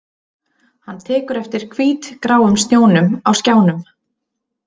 Hann tekur eftir hvítgráum snjónum á skjánum